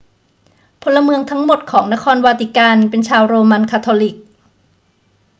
พลเมืองทั้งหมดของนครวาติกันเป็นชาวโรมันคาทอลิก